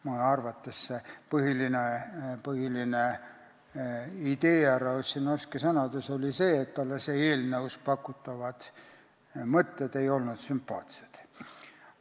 Mõne arvates oli härra Ossinovski sõnade põhiline idee see, et talle ei olnud eelnõus pakutavad mõtted sümpaatsed.